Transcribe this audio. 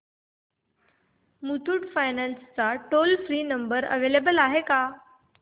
Muthoot finance चा toll free number available आहे का